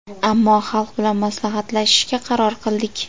Ammo xalq bilan maslahatlashishga qaror qildik.